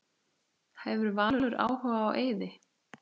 Hefur Valur áhuga á Eiði?